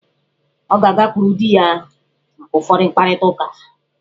Ọ ga-agakwuru di ya maka ụfọdụ mkparịta uka.